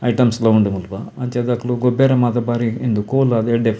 Items ಪೂರ ಉಂಡು ಮುಲ್ಪ ಅಂಚಾದ್ ಅಕುಲು ಗೊಬ್ಬೆರೆ ಮಾತ ಬಾರಿ ಉಂದು ಕೂಲ್ ಆದ್ ಎಡ್ಡೆ.